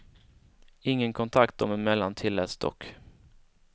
Ingen kontakt dem emellan tilläts dock.